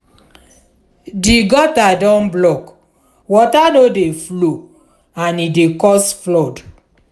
di gutter don block water no dey flow and e dey cause flood